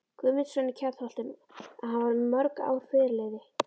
Guðmundsson í Kjarnholtum, að hann var um mörg ár fyrirliði